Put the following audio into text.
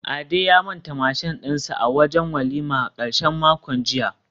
Ade ya manta mashin dinsa a wajen walima a karshen makon jiya